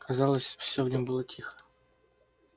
казалось всё в нём было тихо